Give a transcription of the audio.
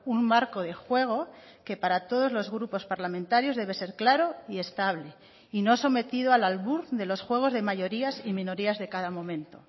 un marco de juego que para todos los grupos parlamentarios debe ser claro y estable y no sometido al albur de los juegos de mayorías y minorías de cada momento